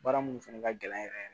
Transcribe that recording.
Baara minnu fɛnɛ ka gɛlɛn yɛrɛ